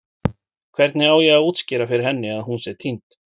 Hvernig á ég að útskýra fyrir henni að hún sé týnd?